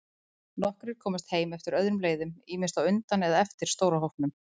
Nokkrir komust heim eftir öðrum leiðum, ýmist á undan eða eftir stóra hópnum.